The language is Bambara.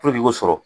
i k'o sɔrɔ